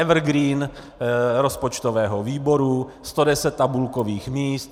Evergreen rozpočtového výboru, 110 tabulkových míst.